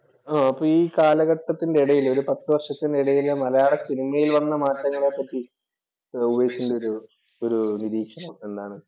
അപ്പോൾ ഈ കാലഘട്ടത്തിന്‍റെ ഇടയില് ഒരു പത്ത് വർഷത്തിന് ഇടയിലെ മലയാള സിനിമയില്‍ വന്ന മാറ്റങ്ങളെ പറ്റി ഉപേഷിന്‍റെ ഒരു ഒരു നിരീക്ഷണം എന്താണ്?